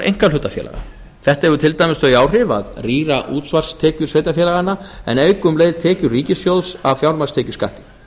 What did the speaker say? einkahlutafélaga þetta hefur til dæmis þau áhrif að rýra útsvarstekjur sveitarfélaganna en auka um leið tekjur ríkissjóðs af fjármagnstekjuskatti